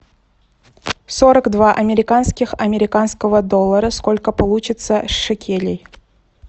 сорок два американских американского доллара сколько получится шекелей